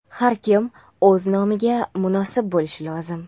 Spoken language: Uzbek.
Har kim o‘z nomiga munosib bo‘lishi lozim!.